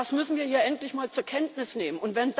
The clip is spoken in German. Das müssen wir hier endlich mal zur Kenntnis nehmen.